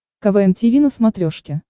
квн тиви на смотрешке